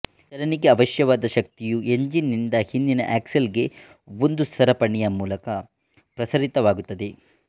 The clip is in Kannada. ಚಲನೆಗೆ ಅವಶ್ಯವಾದ ಶಕ್ತಿಯು ಎಂಜಿನ್ ನಿಂದ ಹಿಂದಿನ ಆಕ್ಸಲ್ ಗೆ ಒಂದು ಸರಪಣಿಯ ಮೂಲಕ ಪ್ರಸರಿತವಾಗುತ್ತದೆ